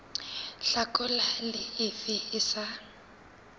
hlakola le efe e sa